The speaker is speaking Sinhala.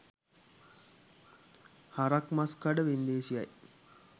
හරක් මස් කඩ වෙන්දේසියයි.